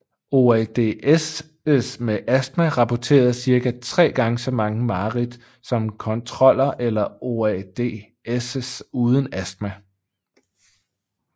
OAD Ss med astma rapporterede cirka 3 gange så mange mareridt som kontroller eller OAD Ss uden astma